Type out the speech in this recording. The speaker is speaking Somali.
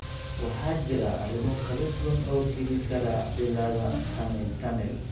Waxaa jira arrimo kala duwan oo keeni kara cilladda tunnel tunnel.